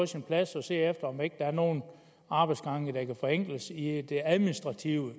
sin plads at se om ikke der er nogle arbejdsgange der kan forenkles i det administrative